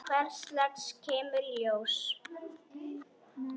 Hvers lags kemur í ljós.